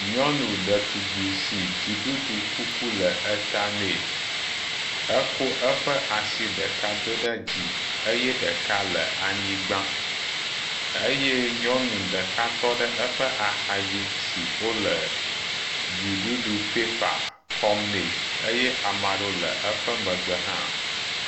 Nyɔnu ɖetugbi si dziɖuɖu kuku le eta nɛ. Ekɔ eƒe asi ɖeka do ɖe dzi eye ɖeka le anyigba eye nyɔnu ɖeka tɔ ɖe eƒe axa dzi si wo le dziɖuɖu pɛpa kɔm nɛ eye ame aɖewo le eƒe megbe hã.